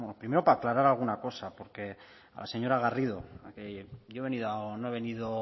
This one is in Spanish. primero para aclarar alguna cosa a la señora garrido que yo no he venido